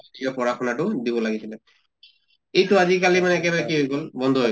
নিজৰ পঢ়া শুনাতো দিব লাগিছিলে। এইটো আজি কালি মানে একেবাৰে কি হৈ গʼল বন্ধ হৈ